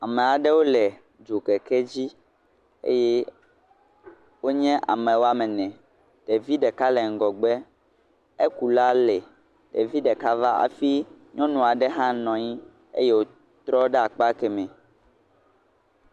Amea ɖewo le dzokeke dzi, eye wonye ame woame ene, ɖevi ɖeka le ŋgɔgbe, ekula le, ɖevi ɖeka va hafi ekula hã nɔ anyi, eye nyɔnu aɖe hã le .